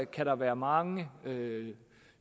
kan der være mange